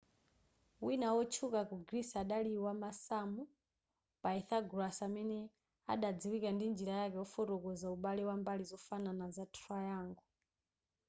wina wotchuka ku greece adali wamasamu pythagoras amene adadziwika ndi njira yake yofotokoza ubale wa mbali zofanana za triangle